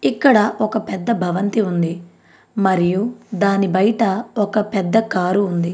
ఇక్కడ ఒక పెద్ద భవంతి ఉంది. మరియు దాని బయట ఒక పెద్ద కారు ఉంది.